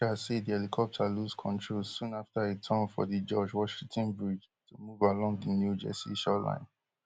officials say di helicopter lose control soon afta e turn for di george washington bridge to move along di new jersey shoreline